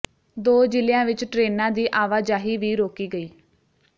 ਦੋ ਜ਼ਿਲ੍ਹਿਆਂ ਵਿਚ ਟ੍ਰੇਨਾਂ ਦੀ ਆਵਾਜਾਹੀ ਵੀ ਰੋਕੀ ਗਈ